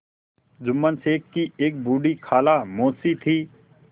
जुम्मन शेख की एक बूढ़ी खाला मौसी थी